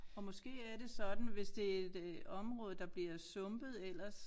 Og måske er det sådan hvis det et øh område der bliver sumpet ellers